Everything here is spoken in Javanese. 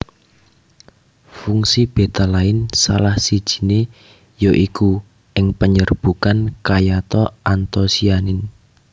Fungsi betalain salah sijie ya iku ing panyerbukan kayata antosianin